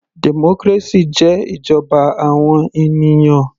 Democracy jẹ́ ìjọba àwọn ènìyàn.